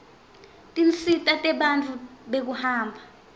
tinsita tebantfu bekuhamba